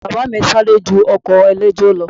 Ẹṣin bàbá mi ń sáré ju ọkọ̀ eléjò lọ